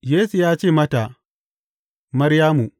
Yesu ya ce mata, Maryamu.